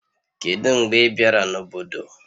Kedu mgbe ị bịara n'obodo